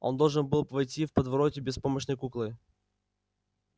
он должен был войти в подворотню беспомощной куклой